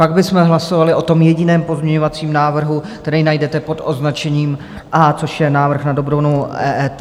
Pak bychom hlasovali o tom jediném pozměňovacím návrhu, který najdete pod označením A, což je návrh na dobrovolnou EET.